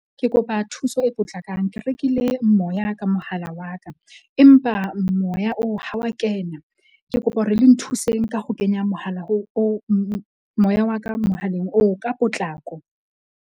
Ke kopa thuso e potlakang. Ke rekile moya ka mohala wa ka, empa moya oo ha wa kena. Ke kopa hore le nthuseng ka ho kenya mohala ho oo moya wa ka mohaleng oo ka potlako.